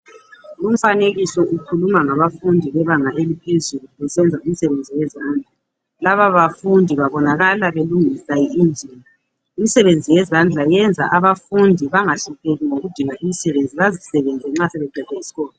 Umfanekiso ukhuluma ngabafundi bebanga eliphezulu besenza imsebenzi yezandla. Laba bafundi babonakala belungisa injini. Imsebenzi yezandla iyenza abafundi bangahlupheki ngokudinga imsebenzi, bazisebenze nxa sebeqede iskolo.